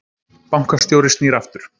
Bankastjóri snýr aftur